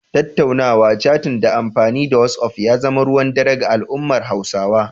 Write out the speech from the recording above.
Tattaunawa/catin ta amfani da wasi'of ya zama ruwan dare ga al'ummar Hausawa.